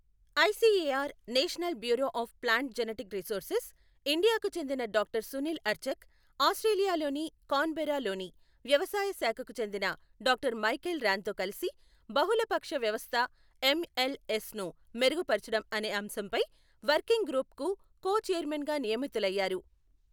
ICAR national bureau of plant genetic resources, ఇండియాకు చెందిన doctor Sunil Archak, ఆస్ట్రేలియాలోని కాన్ బెర్రా లోని వ్యవసాయ శాఖకు చెందిన డాక్టర్ మైఖేల్ ర్యాన్ తో కలిసి బహుళపక్ష వ్యవస్థ ఎంఎల్ఎస్ ను మెరుగుపరచడం అనే అంశంపై వర్కింగ్ గ్రూప్ కు కో ఛైర్మెన్ గా నియమితులయ్యారు.